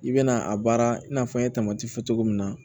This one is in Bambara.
I bɛna a baara in n'a fɔ n ye fɔ cogo min na